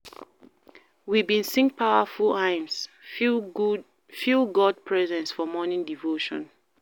We bin sing powerful hymns, feel God presence for morning devotion.